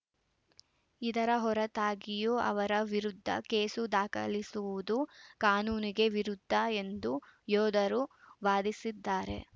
ಇದರ ಹೊರತಾಗಿಯೂ ಅವರ ವಿರುದ್ಧ ಕೇಸು ದಾಖಲಿಸುವುದು ಕಾನೂನಿಗೆ ವಿರುದ್ಧ ಎಂದು ಯೋಧರು ವಾದಿಸಿದ್ದಾರೆ